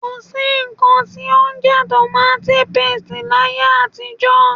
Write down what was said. Ko sí nnkan tí ó ń jẹ́ tomati paste láyé àtijó.